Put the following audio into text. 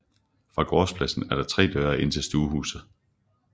Fra gårdspladsen er der tre døre ind til stuehuset